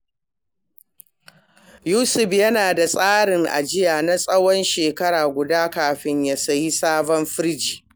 Yusuf yana da tsarin ajiya na tsawon shekara guda kafin ya sayi sabon firiji.